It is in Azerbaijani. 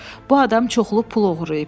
Bu adam çoxlu pul oğurlayıb.